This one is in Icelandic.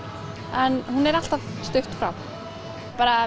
en hún er alltaf stutt frá bara